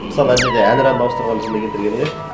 мысалы ана жерде әнұранды ауыстырғаны жынды келтіргені иә